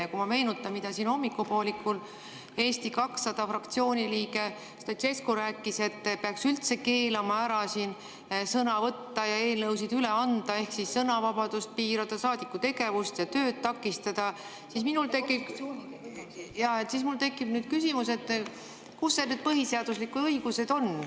Ja kui ma meenutan, mida siin hommikupoolikul Eesti 200 fraktsiooni liige Stoicescu rääkis, et peaks üldse keelama siin sõna võtta ja eelnõusid üle anda ehk sõnavabadust piirama, saadiku tegevust ja tööd takistama, siis minul tekib küsimus, kus need põhiseaduslikud õigused on.